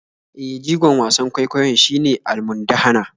E, jigon wasan kwaikwayon shine almundahana.